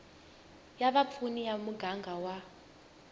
ya vapfuni ya muganga wa